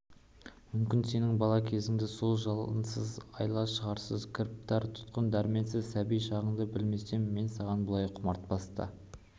мүмкін сенің бала кезіңді сол жалғансыз айла-шарғысыз кіріптар тұтқын дәрменіз сәби шағыңды білмесем мен саған бұлай құмартпас та